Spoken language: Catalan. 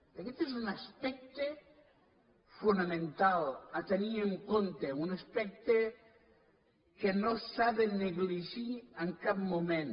aguest és un aspecte fonamental a tenir en compte un aspecte que no s’ha de negligir en cap moment